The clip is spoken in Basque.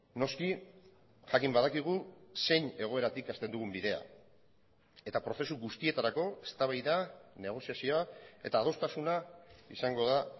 noski jakin badakigu zein egoeratik hasten dugun bidea eta prozesu guztietarako eztabaida negoziazioa eta adostasuna izango da